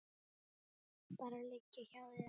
Bara liggja hjá þér.